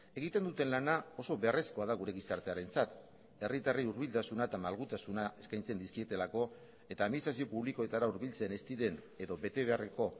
egiten duten lana oso beharrezkoa da gure gizartearentzat herritarrei hurbiltasuna eta malgutasuna eskaintzen dizkietelako eta administrazio publikoetara hurbiltzen ez diren edo betebeharreko